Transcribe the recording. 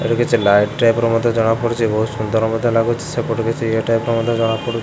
ଏଠି କିଛି light type ର ମଧ୍ୟ ଜଣା ପଡୁଚି ବହୁତ ସୁନ୍ଦର ମଧ୍ୟ ଲାଗୁଚି ସେପଟୁ କିଛି ଇଏ ଟାଇପ୍ ର ମଧ୍ୟ ଜଣା ପଡୁ --